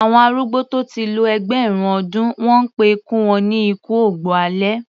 Àwọn arúgbó tó ti lo ẹgbẹ̀rún ọdún, wọ́n pé ikú wọn ni ikú ògbó alẹ́.